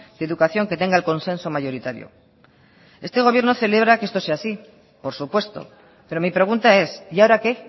de educación que tenga el consenso mayoritario este gobierno celebra que esto sea así por supuesto pero mi pregunta es y ahora qué